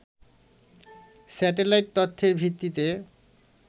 satellite তথ্যের ভিত্তিতে